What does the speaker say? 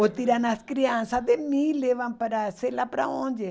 Ou tiram as crianças de mim e levam para sei lá para onde.